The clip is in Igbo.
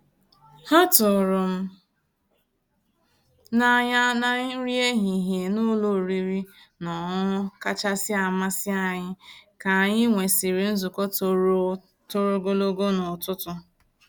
Há tụ̀rụ́ m n'anyà ná nrí èhihie ná ụ́lọ̀ ọ̀rị́rị́ ná ọ̀ṅụ̀ṅụ̀ kàchàsị́ àmàsí ànyị́ kà ànyị́ nwèsị́rị́ nzukọ́ tòró tòró ògòlógò n'ụ̀tụtụ̀.